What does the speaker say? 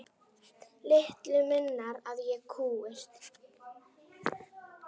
Litlu munar að ég kúgist.